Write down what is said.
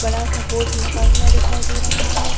बड़ा सा बोर्ड लगा हुआ दिखाई दे रहा है।